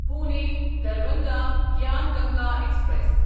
Pune Darbhanga Gyan Ganga express